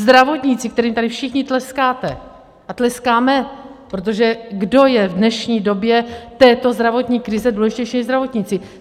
Zdravotníci, kterým tady všichni tleskáte a tleskáme, protože kdo je v dnešní době této zdravotní krize důležitější než zdravotníci?